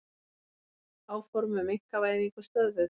Áform um einkavæðingu stöðvuð